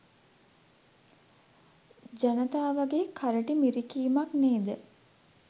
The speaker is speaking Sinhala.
ජනතාවගේ කරටි මිරිකීමක් නේද?